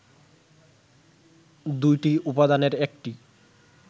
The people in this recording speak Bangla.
দুইটি উপাদানের একটি